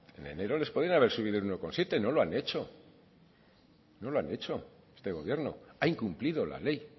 en enero les podían haber subido el uno coma siete no lo han hecho no lo ha hecho este gobierno ha incumplido la ley